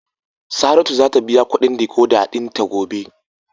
Saratu zata biya kudin " decoder" dinta gobe.